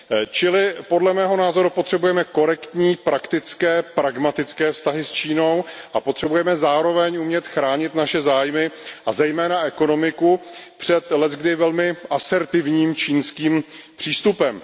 Čili podle mého názoru potřebujeme korektní, praktické, pragmatické vztahy s Čínou a potřebujeme zároveň umět chránit naše zájmy, a zejména ekonomiku před leckdy velmi asertivním čínským přístupem.